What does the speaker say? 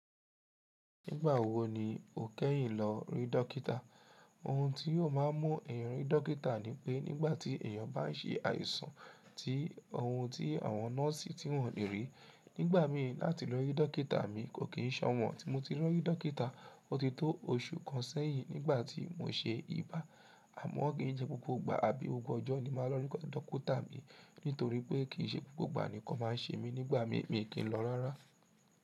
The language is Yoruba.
Nígbà wo ni o kẹ́yìn lọ rí dọ́kítà? Ohun tí yóò má a mú èèyàn rí dọ́kítà ni pé nígbà tí èèyàn bá ń ṣe àìsàn tí ohun tí àwọn nọ́ọ̀sì tí wọ́n le rí. Nígbà mi láti lọ rí dọ́kítà mi kò kì í ṣọ̀wọ́n. Tí mo ti rí dọ́kítà, ó ti tó oṣù kan sẹ́yìn nígbà tí mo ṣe ibà. Àmọ́ ki n se gbogbo ìgbà àbí gbogbo ọjọ́ ni màá lọ rí dọ́kítà mi. Nítorí pé kì í ṣe gbogbo ìgbà nì nnkan màá ń ṣe mí nígbà mi, mi kì í lọ rárá.